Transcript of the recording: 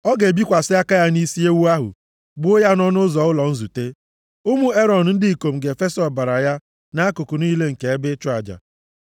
ọ ga-ebikwasị aka ya nʼisi ewu ahụ, gbuo ya nʼọnụ ụzọ ụlọ nzute. Ụmụ Erọn ndị ikom ga-efesa ọbara ya nʼakụkụ niile nke ebe ịchụ aja.